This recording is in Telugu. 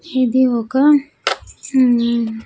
ఇది ఒక ఉమ్.